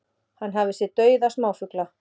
Hann hafi séð dauða smáfugla